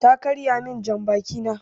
Ta karya min jan baki na